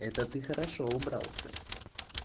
это ты хорошо убрался